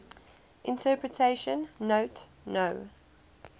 interpretation note no